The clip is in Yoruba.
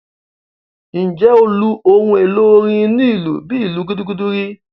Ǹjẹ́ o lu ohun èlò orin onílù bíi ìlù gúdúgúdú rí?